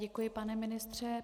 Děkuji, pane ministře.